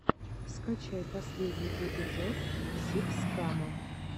скачай последний эпизод сибскана